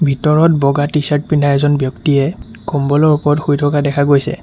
ভিতৰত বগা টি-চাৰ্ট পিন্ধা এজন ব্যক্তিয়ে কম্বলৰ ওপৰত শুই থকা দেখা গৈছে।